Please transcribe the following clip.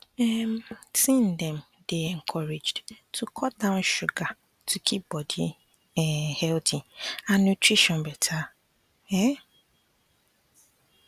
um teen dem dey encouraged to cut down sugar to keep body um healthy and nutrition better um